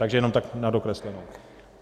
Takže jenom tak na dokreslení.